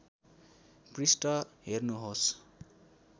पृष्ठ हेर्नुहोस्